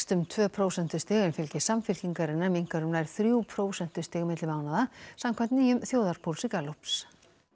um tvö prósentustig en fylgi Samfylkingarinnar minnkar um nær þrjú prósentustig milli mánaða samkvæmt nýjum þjóðarpúlsi Gallups